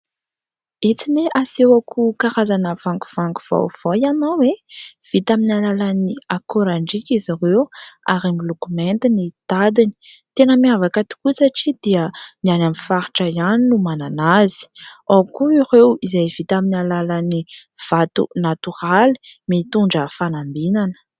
Etsy anie asehoako karazana vangovango vaovao ianao e ! Vita amin'ny alalan'ny akorandrika izy ireo ary miloko mainty ny tadiny. Tena miavaka tokoa satria dia ny any amin'ny faritra ihany no manana azy. Ao koa ireo izay vita amin'ny alalan'ny vato natoraly mitondra fanambinana.